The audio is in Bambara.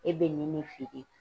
E bɛ nin de feere